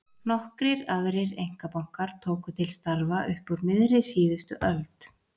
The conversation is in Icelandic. Nokkrir aðrir einkabankar tóku til starfa upp úr miðri síðustu öld.